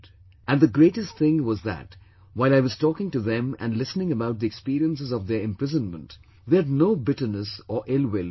And the greatest thing was that while I was talking to them and listening about the experiences of their imprisonment, they had no bitterness or ill will for anyone